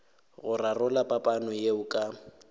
go rarolla phapano yeo ka